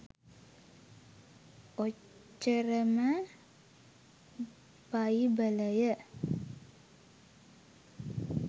ඔච්චරම බයිබලය